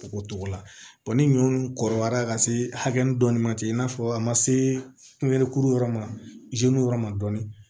O togo la ni ɲɔw kɔrɔbayara ka se hakɛ dɔ ma ten i n'a fɔ a ma se pɛnikuru yɔrɔ ma yɔrɔ ma dɔɔni